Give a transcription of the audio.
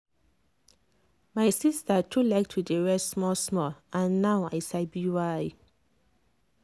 my sister too like to dey rest small-small and now i sabi why.